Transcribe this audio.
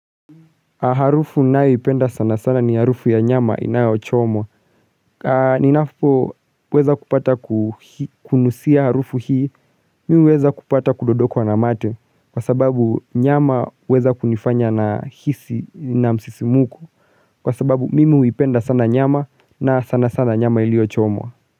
Harufu ninayoipenda sana sana ni harufu ya nyama inayochomwa Ninapoweza kupata kunusia harufu hii Mimi huweza kupata kudondokwa na mate, Kwa sababu nyama huweza kunifanya nahisi na msisimko. Kwa sababu mimi huipenda sana nyama na sana sana nyama iliyochomwa.